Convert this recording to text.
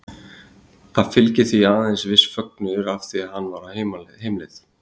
Það fylgdi því aðeins viss fögnuður af því hann var á heimleið.